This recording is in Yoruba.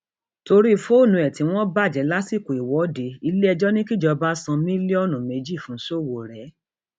torí fóònù ẹ tí wọn bàjẹ lásìkò ìwọde iléẹjọ ní kíjọba san mílíọnù mílíọnù méjì fún sowore